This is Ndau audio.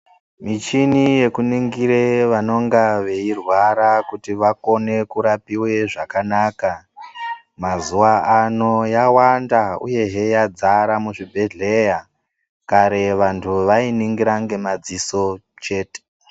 Michini yekuningire vanonga veirwara kuti vakone kurapiwe zvakanaka mazuwa ano yawanda uyehe yadzara muzvibhedhleya kare vanhu vainingira ngemadziso chete.